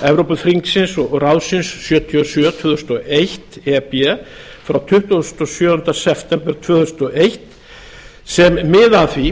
evrópuþingsins og ráðsins sjötíu og sjö tvö þúsund og eitt e b frá tuttugasta og sjöunda september tvö þúsund og eitt sem miða að því